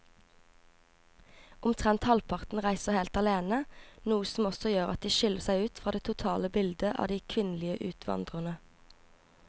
Omtrent halvparten reiser helt alene, noe som også gjør at de skiller seg ut fra det totale bildet av de kvinnelige utvandrerne.